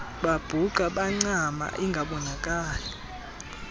babhuqa bancama ingabonakali